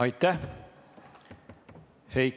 Aitäh!